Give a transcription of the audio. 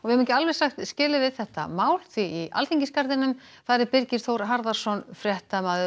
höfum ekki alveg sagt skilið við þetta mál því í Alþingisgarðinum er Birgir Þór Harðarson fréttamaður